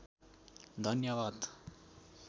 धन्यवाद